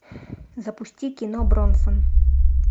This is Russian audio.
запусти кино бронсон